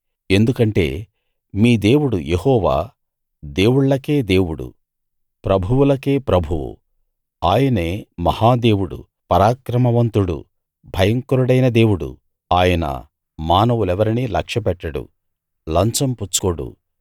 ఎందుకంటే మీ దేవుడు యెహోవా దేవుళ్లకే దేవుడు ప్రభువులకే ప్రభువు ఆయనే మహా దేవుడు పరాక్రమవంతుడు భయంకరుడైన దేవుడు ఆయన మానవులెవరినీ లక్ష్య పెట్టడు లంచం పుచ్చుకోడు